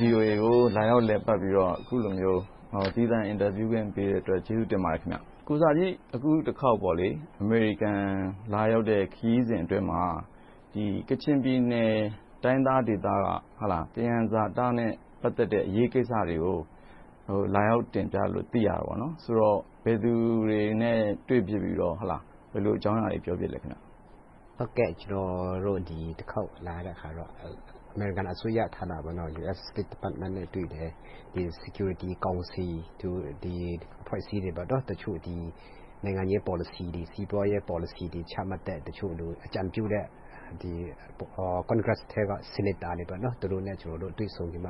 VOA ကို လာရောက်လည်ပတ်ပြီး သီးသန့်အင်တာဗျူး ခွင့်ပြုတဲ့အတွက် ကျေးဇူးတင်ပါတယ်။ ကိုဆာဂျီ အခုတခေါက် အမေရိကန် လာရောက်တဲ့ခရီးစဉ်အတွင်းမှာ ကချင်ပြည်နယ် တိုင်းရင်းသားဒေသက သယံဇာတနဲ့ ပတ်သက်တဲ့ အရေးကိစ္စတွေကို လာရောက်တင်ပြတယ်လို့ သိရပါတယ်။ ဆိုတော့ ဘယ်သူတွေနဲ့ တွေ့ဖြစ်ပြီးတော့ ဘယ်လို အကြောင်းအရာတွေကို ပြောဖြစ်လဲ။ ကျနော်တို့ ဒီတခေါက် လာရတာကတော့ အမေရိကန်အစိုးရ US State Department နဲ့ တွေ့တယ်။ Security Council တို့၊ ဒီအဖွဲ့အစည်းတချို့ နိုင်ငံရေးပေါ်လစီ၊ စီးပွားရေးပေါ်လစီတွေ ချမှတ်တဲ့ အကြံပြုတဲ့ Congress ထဲက Senator တွေနဲ့ တွေ့ဆုံပြီး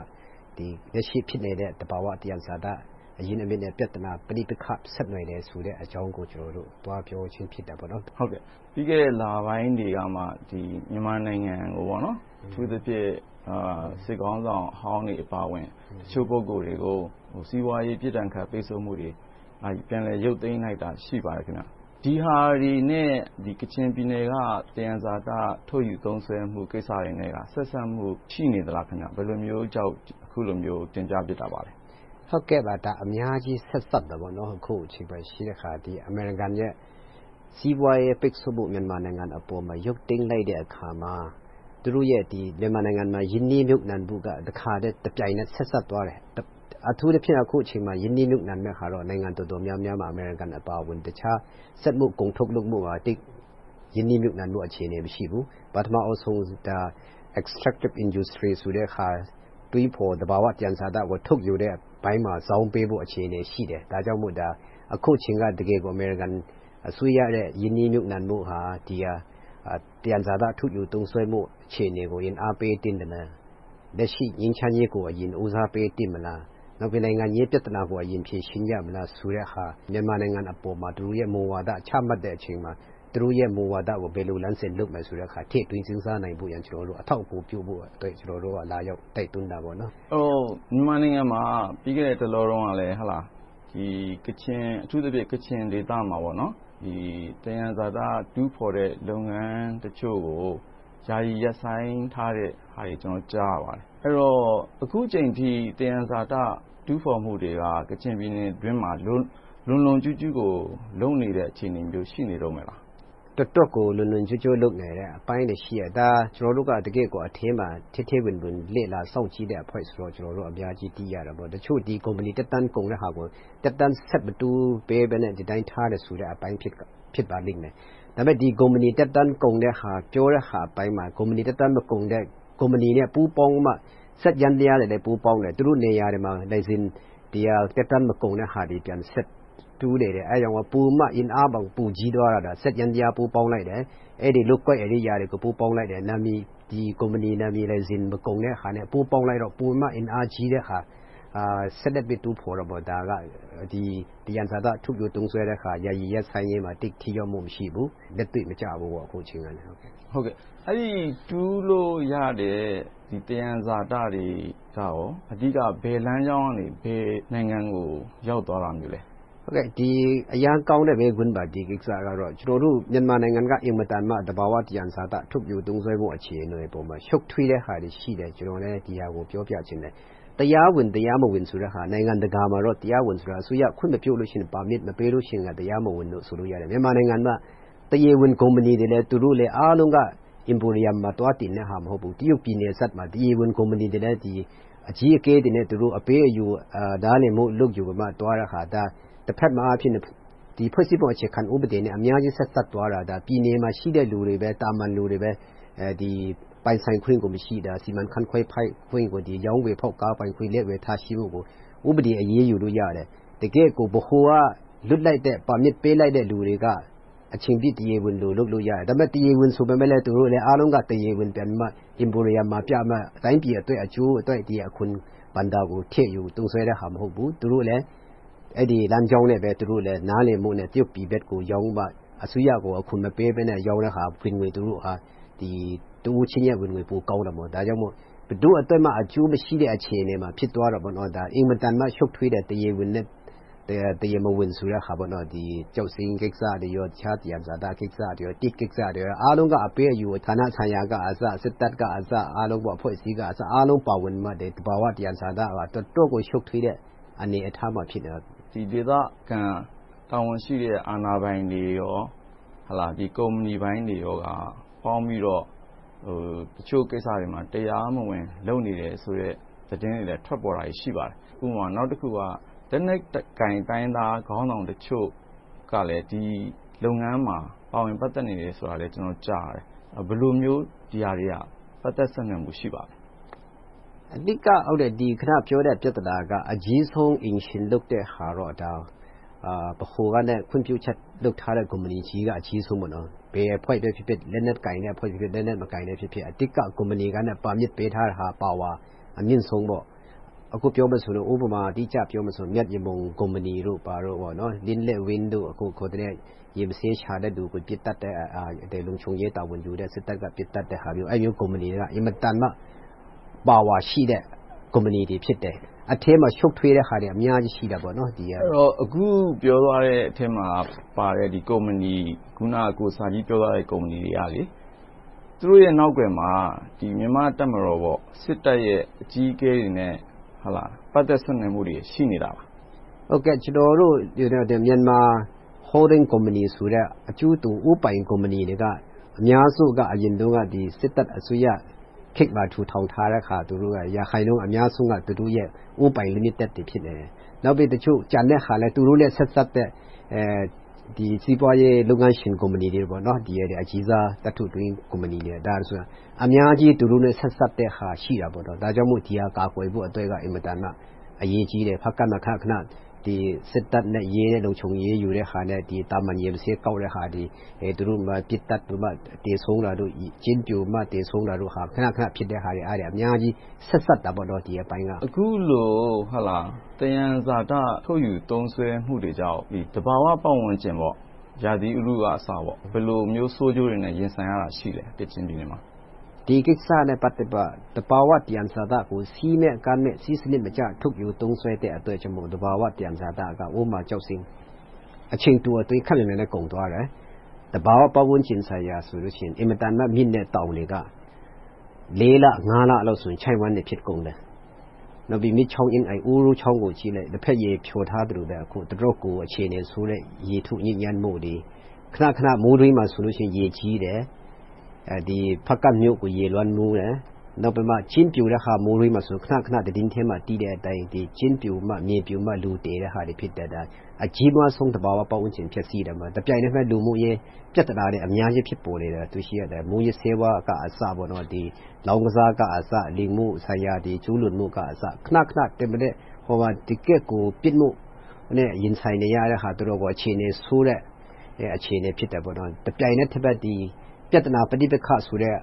လက်ရှိ ဖြစ်နေတဲ့ သဘာဝသယံဇာတ အရင်းအမြစ်တွေနဲ့ ပဋိပက္ခ ဆက်နွှယ်နေတယ်ဆိုတဲ့ အကြောင်းကို ကျနော်တို့ သွားပြောခြင်းဖြစ်တယ်။ ပြီးခဲ့တဲ့ လပိုင်းတွေကမှ မြန်မာနိုင်ငံကို အထူးသဖြင့် စစ်ခေါင်းဆောင်အဟောင်းတွေ အပါအဝင် တချို့ခေါင်းဆောင်တွေကို စီးပွားရေးပြစ်ဒဏ်ခတ် ပိတ်ဆို့မှုတွေ ပြန်လည်ရုတ်သိမ်းလိုက်တာ ရှိပါတယ်။ ဒီဟာတွေနဲ့ ကချင်ပြည်နယ်က သယံဇာတ ထုတ်ယူသုံးစွဲခွင့်ကိစ္စတွေနဲ့က ဆက်စပ်မှု ရှိနေသလား။ ဘယ်လိုမျိုးကြောင့် အခုလိုမျိုး တင်ပြဖြစ်တာလဲ။ အများကြီး ဆက်စပ်နေပါတယ်။ အခုအချိန်အခါမှာ အမေရိကန်ရဲ့ စီးပွားရေးပိတ်ဆို့မှု မြန်မာနိုင်ငံအပေါ် ရုတ်သိမ်းလိုက်တဲ့အခါမှာ သူတို့ရဲ့ မြန်မာနိုင်ငံမှာ ရင်းနှီးမြုပ်နံှမှုက တခါတည်းတပြိုင်တည်း ဆက်စပ်သွားတယ်။ အထူးသဖြင့် အခုအချိန်မှာ ရင်းနှီးမြုပ်နံှတဲ့အခါ နိုင်ငံအတော်များမှားမှာ အမေရိကန်အပါအဝင် တခြား စက်မှုကုန်ထုတ်လုပ်ဖို့ဟာ ရင်းနှီးမြုပ်နံှဖို့ အခြေအနေ မရှိဘူး။ ပထမဦးဆုံး Extractive Industry ဆိုတဲ့အခါ တွင်းဖော် သဘာဝသယံဇာတကို ထုတ်ယူတဲ့ အပိုင်းမှာ ဇောင်းပေးမယ့် အခြေအနေတွေရှိမယ်။ ဒါကြောင့်မို့ အခုအချိန်က တကယ်ကို အမေရိကန်အစိုးရရဲ့ ရင်းနှီးမြှုပ်နံှဖို့ဟာ ဒီဟာ သယံဇာတ ထုတ်ယူသုံးစွဲမှု အခြေအနေကို အရင်အားပေးသင့်တယ်။ လက်ရှိ ငြိမ်းချမ်းရေးကို အရင်ဦးစားပေး လုပ်သင့်သလား။ နောက်ပြီ နိုင်ငံရေးပြဿနာကို အရင်ဖြေရှင်းကြမလားဆိုတဲ့ဟာ မြန်မာနိုင်ငံအပေါ်မှာ သူတို့ရဲ့ မူဝါဒ ချမှတ်တဲ့အချိန်မှာ သူတို့ရဲ့ မူဝါဒကို ဘယ်လို လမ်းစဉ်လုပ်မလဲဆိုတဲ့ဟာကို ထည့်သွင်းစဉ်းစားနိုင်ဖို့ကို အထောက်အကူပြုဖို့အတွက် ကျနော်တို့က လာရောက်တိုက်တွန်းတာပေါ့။ မြန်မာနိုင်ငံမှာ ပြီးခဲ့တဲ့တလောတုန်းက အထူးသဖြင့် ကချင်ဒေသမှာ သယံဇာတ တူးဖော်တဲ့လုပ်ငန်းတချို့ကို ယာယီရပ်ဆိုင်းထားတဲ့ဟာတွေကို ကျနော်တို့ ကြားရပါတယ်။ အဲဒီတော့ အခုအချိန်အထိ သယံဇာတ တူးဖော်မှုတွေက ကချင်ပြည်နယ်အတွင်းမှာ လွတ်လွတ်လပ်လပ် လွန်လွန်ကျူးကျူးကို လုပ်နေတဲ့ အခြေအနေမျိုး ရှိနေတုန်းပဲလား။ တော်တော်ကို လွန်လွန်ကျူးကျူး လုပ်နေတဲ့အပိုင်းတွေ ရှိတယ်။ ဒါဟာ ကျနော်တို့က ထဲထဲဝင်ဝင် တကယ့်ဘဝလေ့လာစောင့်ကြည်တဲ့အဖွဲ့ဆိုတော့ အများကြီး သိရတာပေါ့။ တချို့ဆိုရင် ကုမ္ပဏီသက်တမ်း ကုန်တဲ့ဟာကို သက်တမ်းဆက်မတိုးဘဲနဲ့ ဒီအတိုင်းထားတဲ့အပိုင်း ဖြစ်ပါလိမ့်မယ်။ ဒါပေမဲ့ ဒီကုမ္ပဏီ သက်တမ်းကုန်တဲ့ဟာ ပြောတဲ့အပိုင်းမှာ သက်တမ်းမကုန်တဲ့ ကုမ္ပဏီနဲ့ ပူးပေါင်းမှ စက်ယန္တရားတွေလည်း ပူးပေါင်းတယ်။ သူတို့နေရာတွေမှာ လိုင်စင်သက်တမ်းမကုန်တဲ့ဟာတွေ ဆက်တူးနေတယ်။ ဒါကြောင့် အင်အားတောင် ပိုကြီးသွားတဲ့ စက်ယန္တရား ပူးပေါင်းလိုက်တယ်။ လုပ်ကွက်တွေကို ပူးပေါင်းလိုက်တယ်။ ကုမ္ပဏီနာမည် မကုန်တဲ့ဟာနဲ့ ပူးပေါင်းလိုက်တော့ ပိုပြီးတော့ အင်အားကြီးတဲ့ စက်နဲ့ တူးဖော်တာ ဒါက သယံဇာတထုတ်ပြီး သုံးစွဲတဲ့ဟာ ယာယီရပ်ဆိုင်းရေးမှာ ထိရောက်မှု မရှိဘူး။ လက်တွေ့မကျဘူး။ အဲဒီ တူးလို့ရတဲ့ သယံဇာတတွေက အဓိက ဘယ်လမ်းကြောင်းကနေ ဘယ်နိုင်ငံကို ရောက်သွားတာမျိုးလဲ။ ဒီကိစ္စက အရမ်းကောင်းတဲ့ မေးခွန်းပါ။ ကျနော်တို့ မြန်မာနိုင်ငံက အင်မတန်မှ သဘာဝသယံဇာတ ထုတ်ပြီးသုံးစွဲဖို့ အခြေအနေ ရှုပ်ထွေးတဲ့ဟာတွေ ရှိတယ်။ ကျနော်လည်း ဒီဟာကို ပြောပြချင်တယ်။ တရားဝင်၊ တရားမဝင်ဆိုတာ နိုင်ငံတကာမှာ အစိုးရခွင့်မပြု Permit မပေးလို့ရှီရင် တရားမဝင်လို့ ဆိုလို့ရတယ်။ မြန်မာနိုင်ငံမှာ တရားဝင်ကုမ္ပဏီတွေလည်း သူတို့က Emporium မှာ သွားတင်တဲ့ဟာ မဟုတ်ဘူး။ တရုတ်ပြည်နယ်စပ်မှာ တရားဝင်ကုမ္ပဏီတွေလည်း အကြီးအကဲတွေနဲ့ အပေးအယူလုပ် ယူတဲ့အခါ တဘက်မှာ ဖွဲ့စည်းပုံအခြေခံဥပဒေနဲ့ အများကြီးဆက်စပ်သွားတာ ပြည်နယ်မှာရှိတဲ့ သာမန်လူတွေပဲ ပိုင်ဆိုင်ခွင့်ကို မရှိတာ၊ စီမံခန့်ခွဲခွင့်၊ ရောင်းဝယ်ဖောက်ကားပိုင်ခွင့်ကို လက်ဝယ်ထားရှိမှုကို ဥပဒေနဲ့ အရေးယူလို့ရတယ်။ တကယ့်ကို ဗဟိုက လွှတ်လိုက်တဲ့၊ Permit ပေးလိုက်တဲ့လူတွေက အချိန်ပြည့်တရားဝင် လုပ်လို့ရတယ်။ တရားဝင်ဆိုပေမယ့် အားလုံးက တရားဝင် Emporium မှာပြမှ တိုင်းပြည်အတွက် အကျိုးအတွက် အခွန်ဘဏ္ဍာကို ထည့်ယူသုံးစွဲတဲ့ဟာ မဟုတ်ဘူး။ သူတို့လည်း အဲဒီလမ်းကြောင်းနဲ့ပဲ နားလည်မှုနဲ့ တရုတ်ပြည်ဘက်ကို ရောင်းမှ အစိုးရကို အခွန်မပေးဘဲနဲ့ ရောင်းတဲ့ဟာ ဝင်ငွေပိုကောင်းတာပေါ့။ ဒါကြောင့် ဘယ်သူအတွက်မှ အကျိုးမရှိတဲ့ အခြေအနေမှာ ဖြစ်သွားတာပေါ့။ အင်မတန်မှ ရှုပ်ထွေးတဲ့ တရားဝင်နဲ့ တရားမဝင်ဆိုတဲ့ဟာ ကျောက်စိမ်းကိစ္စတွေ နဲ့ တခြားကိစ္စတွေ သစ်ကိစ္စတွေ အားလုံးက အပေးအယူ ဌာနဆိုင်ရာကအစ စစ်တပ်၊ အဖွဲ့အစည်း အားလုံး ပါဝင်မှ သဘာဝသယံဇာတ ထုတ်ယူမှုက တော်တော့ကို ရှုပ်ထွေးတဲ့ အခြေအနေပါ။ ဒီဒေသခံ တာဝန်ရှိတဲ့ အာဏာပိုင်တွေ၊ ကုမ္ပဏီပိုင်းတွေက ပေါင်းပြီးတော့ တချို့ကိစ္စတွေမှာ တရားမဝင် လုပ်နေတယ်ဆိုတဲ့ သတင်းတွေလည်း ထွက်ပေါ်နေတာ ရှိပါတယ်။ ဥပမာ နောက်တခုက လက်နက်ကိုင် တိုင်းရင်းသားခေါင်းဆောင်တချို့ကလည်း ဒီလုပ်ငန်းမှာ ပါဝင်ပတ်သက်နေတယ်ဆိုတာလည်း ကြားသိရတယ်။ ဘယ်လိုမျိုး ဒီဟာတွေက ပတ်သက်ဆက်နွယ်မှု ရှိပါလဲ။ အဓိက အခုနပြောတဲ့ ပြဿနာတွေက အကြီးဆုံး အိမ်ရှင်လုပ်တဲ့ဟာကတော့ ဗဟိုက ခွင့်ပြုချက်လုပ်ထားတဲ့ ကုမ္ပဏီကြီးတွေက အကြီးဆုံး။ ဘယ်အဖွဲ့ပဲဖြစ်ဖြစ် လက်နက်ကိုင်ဖြစ်ဖြစ်၊ လက်နက်မကိုင်ဖြစ်ဖြစ် အဓိက ကုမ္ပဏီပါမစ် ပေးထားတာက Power အမြင့်ဆုံးပေါ့။ ဥပမာ အတိအကျပြောမယ်ဆိုရင် မြတ်ယမုံကုမ္ပဏီတို့၊ လင်းလက်ဝင်းတို့ ရေမဆေးရှာတဲ့လူကို ပစ်သတ်တဲ့ လုံခြုံရေး တာဝန်ယူတဲ့ စစ်တပ်က ပစ်သတ်တဲ့ဟာမျိုး ကုမ္ပဏီတွေက အင်မတန်မှ Power ရှိတဲ့ ကုမ္ပဏီတွေ ဖြစ်တယ်။ အဲဒီထဲမှာ ရှုပ်ထွေးတဲ့ဟာတွေ အများကြီးရှိတယ်။ အခု ပြောသွားတဲ့အထဲမှာပါတဲ့ ကုမ္ပဏီ အခုန ကိုဆာဂျီ ပြောသွားတဲ့ ကုမ္ပဏီတွေက သူတို့ရဲ့ နောက်ကွယ်မှာ မြန်မာ့တပ်မတော် စစ်တပ်ရဲ့ အကြီးအကဲတွေနဲ့ ပတ်သက်ဆက်နွှယ်မှုတွေ ရှိနေလား။ ကျနော်တို့ Myanmar Holding Companies ဆိုတဲ့ အကျိုးတူဦးပိုင်ကုမ္ပဏီတွေက အများဆုံးက အရင်တုန်းက စစ်တပ်အစိုးရခေတ်မှာ ထူထောင်ထားတာ သူတို့က ရာခိုင်နှုန်းအများဆုံးက သူတို့ရဲ့ ဦးပိုင်လီမိတက်တွေ ဖြစ်နေတယ်။ နောက်ပြီး တချို့ကျန်တဲ့ဟာလည်း သူတို့နဲ့ ဆက်စပ်ပတ်သက် စီးပွားရေး လုပ်ငန်းရှင်ကုမ္ပဏီတွေ၊ အကြီးစား သတ္တုတွင်းကုမ္ပဏီတွေ။ အများကြီး သူတို့နဲ့ ဆက်စပ်တဲ့ဟာ ရှိတာပေါ့။ ဒါကြောင့်မို့ ဒီဟာ ကာကွယ်ဖို့က အရေးကြီးတယ်။ ဖားကန့်မှာ ခဏခဏ စစ်တပ်နဲ့ ရဲနဲ့ လုံခြုံရေးယူတဲ့ဟာနဲ့ သာမန်ရေဆင်းကောက်တဲ့ဟာတွေ ပစ်သတ်ပြီး သေဆုံးတာတို့၊ ကျင်းပြိုပြီး သေဆုံးတာတို့ ခဏခဏဖြစ်တဲ့ဟာတွေက အများကြီး ဆက်စပ်တာပေါ့။ ဒီအပိုင်းက။ အခုလို သယံဇာတ ထုတ်ယူသုံးစွဲမှုတွေကြောင့် သဘာဝပတ်ဝန်းကျင် ရာသီဥတုကအစ ဘယ်လိုမျိုး ဆိုးကျိုးတွေနဲ့ ရင်ဆိုင်ရတာ ရှိလဲ။ ကချင်ပြည်နယ်မှာ။ ဒီကိစ္စနဲ့ ပတ်သက်လို့ သဘာဝ သယံဇာတကို စည်းမဲ့ကမ်းမဲ့ စည်းစနစ်မကျ ထုတ်ယူသုံးစွဲတဲ့အတွက်ကြောင့်မို့ သဘာဝသယံဇာတက ဥပမာ ကျောက်စိမ်း အချိန်တိုအတွင်း ခပ်မြန်မြန်နဲ့ ကုန်သွားတယ်။ သဘာဝပတ်ဝန်းကျင်ဆိုင်ရာဆိုရင် အင်မတန်မှ မြင့်တဲ့တောင်တွေက လေးလငါးလ လောက်ဆိုရင် ချောင့်ဝှမ်းတွေ ဖြစ်ကုန်တယ်။ နောက် မြစ်ချောင်းအင်းအိုင် ဥရုချောင်းကိုကြည့်လိုက် လက်ဘက်ရည်ဖျော်ထားသလို တော်တော့ကို အခြေအနေဆိုးတဲ့ ရေထုညစ်ညမ်းမှုတွေ၊ ခဏခဏ မိုးတွင်းမှာဆိုရင် ရေကြီးတယ်။ ဖားကန့်မြို့ကို ရေလွှမ်းမိုးတယ်။ နောက်ပြီးတော့ ကျင်းပြိုတဲ့အခါ မိုးတွင်းမှာဆို ခဏခဏ သတင်းထဲမှာ ကျင်းပြိုမြေပြိုပြီး လူတွေ သေတယ့်ဟာတွေ ဖြစ်တယ်။ အကြီးမားဆုံး သဘာဝပတ်ဝန်းကျင် ဖျက်ဆီးမှုတွေ ဖြစ်တယ်။ တပြိုင်နက်ထဲ လူမှုရေးပြဿနာတွေ အများကြီး ဖြစ်ပေါ်နေတယ်။ မူးယစ်ဆေးဝါးကအစ လောင်ကစား၊ လိင်မှုဆိုင်ရာတွေ ကျူးလွန်မှုတွေ ခဏခဏ တကယ့်ကို ပြစ်မှုနဲ့ ရင်ဆိုင်နေရတဲ့ အခြေအနေဆိုးတဲ့ အခြေအနေဖြစ်တယ်။ တပြိုင်တည်း ပြဿနာပဋိပက္ခဆိုတဲ့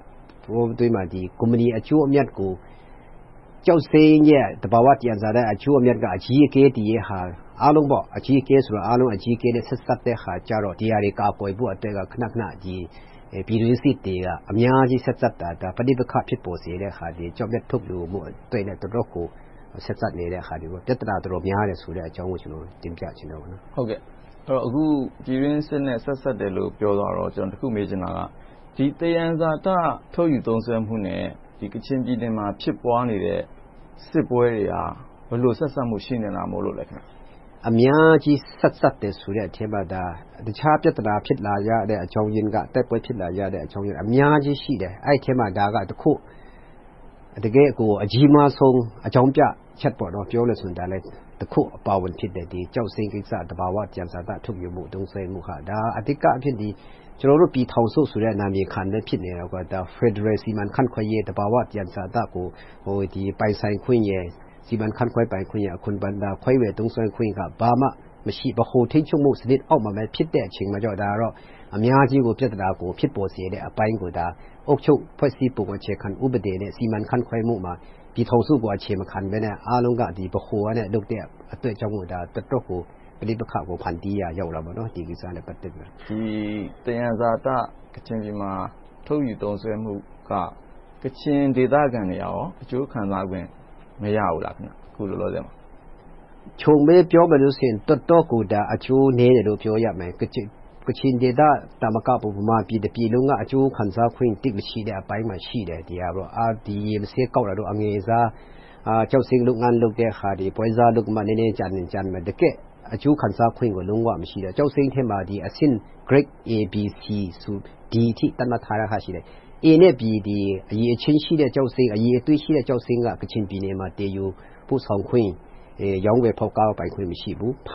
ကုမ္ပဏီအကျိုးအမြတ်ကို ကျောက်စိမ်းရဲ့ သဘာဝသယံဇာတ အကျိုးအမြတ်က အကြီးအကဲတွေဟာ အားလုံးအကြီးအကဲနဲ့ ဆက်စပ်တဲ့ဟာကြတော့ ဒီဟာတွေ ကာကွယ်ဖို့အတွက် ခဏခဏ ပြည်တွင်းစစ်တွေ အများကြီး ဆက်စပ်တာ၊ ပဋိပက္ခ ဖြစ်ပေါ်စေတာတွေ ကျောက်မျက်ထုတ်ယူဖို့အတွက် တော်တော့ကို ဆက်စပ်နေတယ်။ ပြဿနာ တော်တော်များတယ်ဆိုတာကို တင်ပြချင်တယ်။ ပြည်တွင်းစစ်နဲ့ ဆက်စပ်တယ်လို့ ပြောသွားတော့ ကျနော် တခုမေးချင်တာက ဒီ သယံဇာတ ထုတ်ယူသုံးစွဲမှုနဲ့ ကချင်ပြည်နယ်မှာ ဖြစ်ပွားနေတဲ့ စစ်ပွဲတွေဟာ ဘယ်လို ဆက်စပ်မှု ရှိနေတာမို့လဲ။ အများကြီး ဆက်စပ်တယ်ဆိုတဲ့အထဲမှာ တခြားပြဿနာ ဖြစ်လာရတဲ့ အကြောင်းရင်းက၊ တိုက်ပွဲဖြစ်လာရတဲ့ အကြောင်းရင်းက အများကြီးရှိတယ်။ အဲဒီအထဲမှာ ဒါကတခု။ တကယ့်ကို အကြီးမားဆုံး အကြောင်းပြချက်။ ပြောမယ်ဆိုရင် ဒါလဲ တခုအပါအဝင် ဖြစ်တယ်။ ကျောက်စိမ်းကိစ္စ သဘာဝသယံဇာတ ထုတ်ယူမှု၊ သုံးစွဲမှုက ဒါက အဓိကအားဖြင့် ကျနော်တို့ ပြည်ထောင်စုဆိုတဲ့ နာမည်ခံပဲ ဖြစ်နေတယ်။ ဖယ်ဒရယ် စီမံခန့်ခွဲရေး သဘာဝသယံဇာတကို ပိုင်ဆိုင်ခွင့်နဲ့ စီမံခန့်ခွဲပိုင်ခွင့်၊ အခွန်ဘဏ္ဍာခွဲဝေသုံးစွဲခွင့်တွေက ဘာမှမရှိဘူး။ ဗဟိုထိန်းချုပ်မှုအောက်မှာပဲဖြစ်တဲ့အခါကြောင့်မို့ အများကြီးကို ပြဿနာကို ဖြစ်ပေါ်စေတဲ့အပိုင်းကို အုပ်ချုပ်မှု အခြေခံဥပဒေနဲ့ စီမံခန့်ခွဲမှုမှာ ပြည်ထောင်စုအပေါ် အခြေမခံဘဲနဲ့ အားလုံးက ဗဟိုကလုပ်တဲ့အတွက်ကြောင့်မို့ ပဋိပက္ခကို ဖန်တီးရာရောက်တာပေါ့။ ဒီသယံဇာတ ကချင်ပြည်နယ်မှာ ထုတ်ယူသုံးစွဲမှုက ကချင်ဒေသခံတွေက အကျိုးခံစားခွင့် မရဘူးလား။ အခုလောလောဆယ်မှာ။ ခြုံပြီးပြောမယ်ဆိုရင် တော်တော့ကို အကျိုးနည်းတယ်လို့ ပြောရမယ်။ ကချင်ဒေသသာမကဘူး ဗမာပြည် တပြည်လုံးက အကျိုးခံစားခွင့် သိပ်မရှိတဲ့အပိုင်းမှာ ရှိတယ်။ ရေဆေးကောက်တာတို့၊ အငယ်စား ကျောက်စိမ်းလုပ်တဲ့ဟာတွေ ပွဲစားလုပ်ပြီးမှ နည်းနည်းကျန်ရင်ကျန်မယ်။ တကယ့် အကျိုးခံစားခွင့်ကို လုံးဝမရှိဘူး။ ကျောက်စိမ်းမှာ အဆင့် Grade A, B, C, D အထိ သတ်မှတ်ထားတာတွေ ရှိတယ်။ A နဲ့ B အရည်အသွေးရှိတဲ့ ကျောက်စိမ်းက ကချင်ပြည်နယ်မှာ သယ်ယူပို့ဆောင်ခွင့်၊ ရောင်းဝယ်ဖောက်ကားပိုင်ခွင့် မရှိဘူး။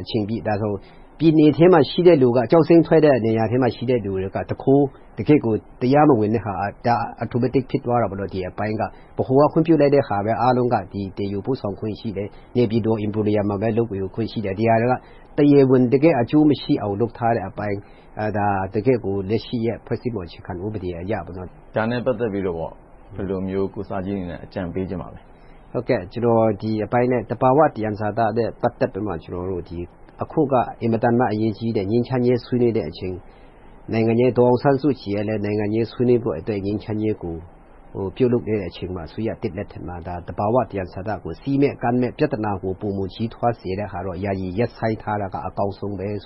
အချိန်ပြည့် ဖမ်းလို့ရတယ်။ ပြည်နယ်ထဲမှာရှိတဲ့ လူက ကျောက်စိမ်းထွက်တဲ့နေရာမှာ ရှိတဲ့လူတွေက တကယ့်ကို တရားမဝင်တဲ့ဟာ automatic ဖြစ်သွားတယ်။ ဗဟိုက ခွင့်ပြုလိုက်တဲ့ဟာပဲ အားလုံးက သယ်ယူပို့ဆောင်ခွင့်ရှိတယ်။ နေပြည်တော် Emporium မှာပဲ လုပ်ခွင့်ရှိတယ်။ ဒီဟာတွေက တရားဝင် တကယ့်အကျိုးမရှိအောင်လို့ထားတဲ့အပိုင်း ဒါက တကယ့်ကို လက်ရှိ အခြေခံဥပဒေအရ။ ဒါနဲ့ ပတ်သက်ပြီး ဘယ်လိုမျိုး ကိုဆာဂျီအနေနဲ့ အကြံပေးချင်ပါလဲ။ ကျနော် ဒီအပိုင်းနဲ့ သဘာဝသယံဇာတ ပတ်သက်ပြီး အခုက အင်မတန်မှ အရေးကြီးတယ်။ ငြိမ်းချမ်းရေး ဆွေးနွေးတဲ့အချိန်။ ဒေါ်အောင်ဆန်းစုကြည်ကလည်း နိုင်ငံရေးဆွေးနွေးဖို့အတွက် ငြိမ်းချမ်းရေးကို ပြုလုပ်နေတဲ့အချိန်မှာ သဘာဝသယံဇာတကို စည်းနဲ့ကမ်းနဲ့ ပြဿနာကို ပိုမိုကြီးထွားစေတဲ့ဟာတွေကို ယာယီရပ်ဆိုင်းထားက အကောင်းဆုံးပဲလို့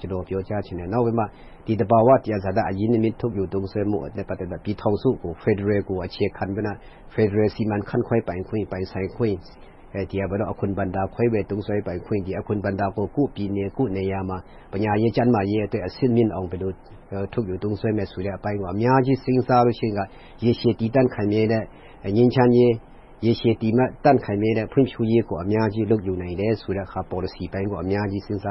ကျနော် ပြောကြားချင်တယ်။ နောက်ပြီးမှ ဒီသဘာဝသယံဇာတ အရင်းအမြစ်ထုတ်ယူ သုံးစွဲမှုနဲ့ ပတ်သက်လို့ ပြည်ထောင်စု ဖယ်ဒရယ်ကို အခြေခံပြီးမှ ဖယ်ဒရယ် စီမံခန့်ခွဲပိုင်ခွင့်၊ အခွန်ဘဏ္ဍာ ခွဲဝေသုံးစွဲပိုင်ခွင့်တွေ၊ အခွန်ဘဏ္ဍာကို ကိုယ့်ပြည်နယ်ကိုယ့်နေရာမှာ ပညာရေး၊ ကျန်းမာရေးအတွက် အဆင့်မြင့်အောင် ဘယ်လိုထုတ်ယူသုံးစွဲမလဲ ဆိုတဲ့အပိုင်းတွေကို အများကြီး စဉ်းစားပြီး ရေရှည်တည်တန့်ခိုင်မြဲတဲ့ ငြိမ်းချမ်းရေး၊ ရေရှည်တည်တန့်ခိုင်မြဲမယ့် ဖွံ့ဖြိုးရေးကို အများကြီး လုပ်ယူနိုင်တဲ့ ပေါ်လစီအပိုင်းကို အများကြီးစဉ်းစား